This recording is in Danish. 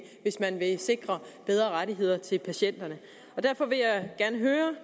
hvis man vil sikre bedre rettigheder til patienterne derfor vil jeg gerne høre